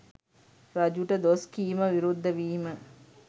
රජුට දොස් කීම විරුද්ධ වීම